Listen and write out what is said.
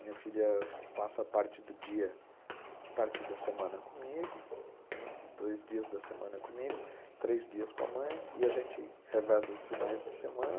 Minha filha passa parte do dia, parte da semana comigo, dois dias da semana comigo, três dias com a mãe e a gente reveza os finais de semana.